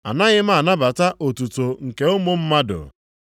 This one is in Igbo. “Anaghị m anabata otuto nke ụmụ mmadụ.